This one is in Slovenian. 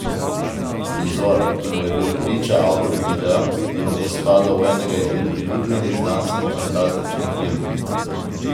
Prizor, ki mu je bil priča avtor videa, bi lahko spadal v enega izmed priljubljenih znanstvenofantastičnih filmov.